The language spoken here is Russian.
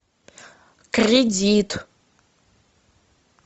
кредит